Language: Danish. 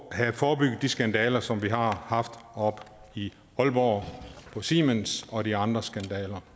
have forebygget de skandaler som vi har haft oppe i aalborg på siemens og de andre skandaler